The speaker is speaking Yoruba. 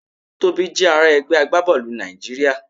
Tobi jẹ ara ẹgbẹ agbabọọlu Naijiria